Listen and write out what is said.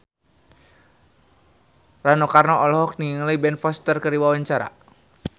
Rano Karno olohok ningali Ben Foster keur diwawancara